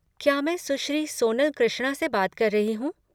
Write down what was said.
क्या मैं सुश्री सोनल कृष्णा से बात कर रही हूँ?